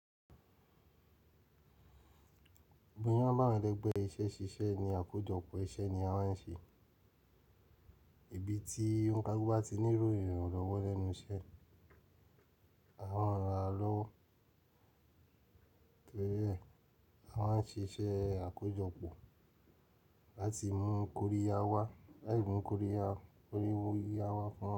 Gbogbo yín máa bá mi dẹgbẹ iṣẹ́ ṣiṣẹ́ ní àkójọpọ̀ iṣẹ́ ni a máa ń ṣe. Ibi tí òǹkà gbọ́ ti ní ìròyìn rọwọ́ lẹ́nu iṣẹ́. A máa ń ra lọ́wọ́, torí ẹ, a máa ń ṣe iṣẹ́ àkójọpọ̀ láti mú kóríya wá, láì mú kóríya, kóríwo yíya wá pọ̀.